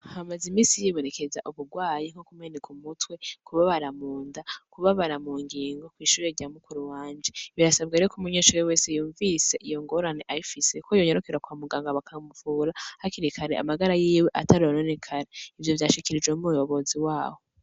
Hamaze imisi hibonekeza ubugwayi bwo kumeneka umutwe, kubabara mu nda, kubabara mu ngingo kw'ishure rya mukuru wanje. Birasabwa rero ko umunyeshure wese yumvise iyo ngorane ayifise, ko yonyarukira kwa muganga bakamuvura hakiri kare, amagara yiwe atarononekara. Ivyo vyashikirijwe n'umuyobozi waho.